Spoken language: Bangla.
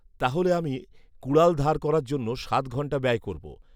তাহলে আমি কুড়াল ধার করার জন্য সাত ঘণ্টা ব্যায় করব"